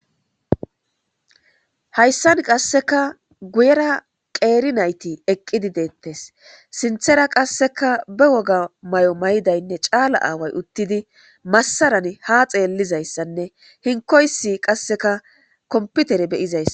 Hayssan qasseka guyera qeeri nayti eqqidi deettes sinthera qasseka be woga may'o maydaynne caala aaway uttidi massaran ha xeellizayssanne hinkoysi qasseka komputere beyizayssa